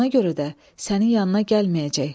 Elə buna görə də sənin yanına gəlməyəcək.